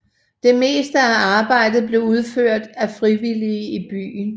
Det meste af arbejdet blev udført af frivillige i byen